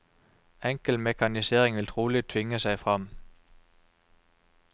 Enkel mekanisering vil trolig tvinge seg fram.